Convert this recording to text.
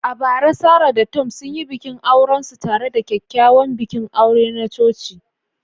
A bara, Sarah da Tom sun yi bikin aurensu tare da kyakkyawan bikin aure na coci.